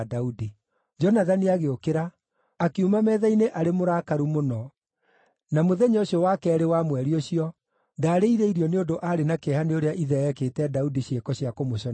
Jonathani agĩũkĩra, akiuma metha-inĩ arĩ mũrakaru mũno; na mũthenya ũcio wa keerĩ wa mweri ũcio, ndaarĩire irio nĩ ũndũ aarĩ na kĩeha nĩ ũrĩa ithe ekĩte Daudi ciĩko cia kũmũconorithia.